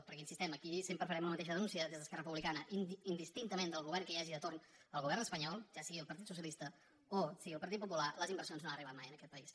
perquè hi insistim aquí sempre farem la mateixa denúncia des d’esquerra republicana indistintament del govern que hi hagi de torn al govern espanyol ja sigui el partit socialista o sigui el partit popular les inversions no han arribat mai en aquest país